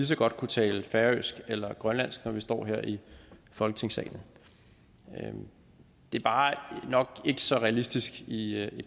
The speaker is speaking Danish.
så godt kunne tale færøsk eller grønlandsk når vi står her i folketingssalen det er bare nok ikke så realistisk i